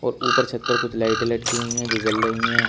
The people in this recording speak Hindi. और ऊपर छत पर कुछ लाइटे लटकी हुई हैं जो जल रही हैं।